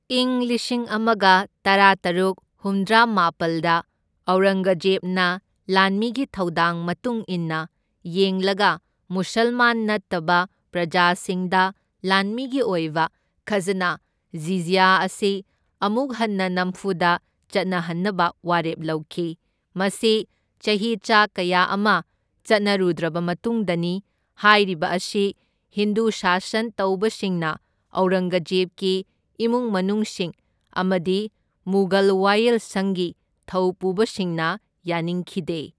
ꯏꯪ ꯂꯤꯁꯤꯡ ꯑꯃꯒ ꯇꯔꯥꯇꯔꯨꯛ ꯍꯨꯝꯗ꯭ꯔꯥꯃꯥꯄꯜꯗ ꯑꯧꯔꯪꯒꯖꯦꯕꯅ ꯂꯥꯟꯃꯤꯒꯤ ꯊꯧꯗꯥꯡ ꯃꯇꯨꯡ ꯏꯟꯅ ꯌꯦꯡꯂꯒ ꯃꯨꯁꯜꯃꯥꯟ ꯅꯠꯇꯕ ꯄ꯭ꯔꯖꯥꯁꯤꯡꯗ ꯂꯥꯟꯃꯤꯒꯤ ꯑꯣꯏꯕ ꯈꯁꯅ ꯖꯤꯖ꯭ꯌ ꯑꯁꯤ ꯑꯃꯨꯛ ꯍꯟꯅ ꯅꯝꯐꯨꯗ ꯆꯠꯅꯍꯟꯅꯕ ꯋꯥꯔꯦꯞ ꯂꯧꯈꯤ, ꯃꯁꯤ ꯆꯍꯤꯆꯥ ꯀꯌꯥ ꯑꯃ ꯆꯠꯅꯔꯨꯗ꯭ꯔꯕ ꯃꯇꯨꯡꯗꯅꯤ, ꯍꯥꯏꯔꯤꯕ ꯑꯁꯤ ꯍꯤꯟꯗꯨ ꯁꯥꯁꯟ ꯇꯧꯕꯁꯤꯡꯅ, ꯑꯧꯔꯪꯒꯖꯦꯕꯀꯤ ꯏꯃꯨꯡ ꯃꯅꯨꯡꯁꯤꯡ ꯑꯃꯗꯤ ꯃꯨꯘꯜ ꯋꯥꯌꯦꯜ ꯁꯪꯒꯤ ꯊꯧꯄꯨꯕꯁꯤꯡꯅ ꯌꯥꯅꯤꯡꯈꯤꯗꯦ꯫